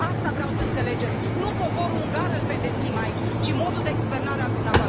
Asta vreau să înțelegeți, nu poporul ungar îl pedepsim aici, ci modul de guvernare al dumneavoastră.